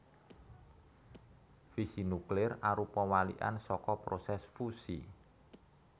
Fisi nuklir arupa walikan saka prosès fusi